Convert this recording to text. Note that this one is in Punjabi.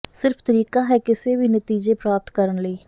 ਸਿਰਫ ਤਰੀਕਾ ਹੈ ਕਿਸੇ ਵੀ ਨਤੀਜੇ ਪ੍ਰਾਪਤ ਕਰਨ ਲਈ